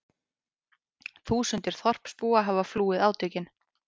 Þúsundir þorpsbúa hafa flúið átökin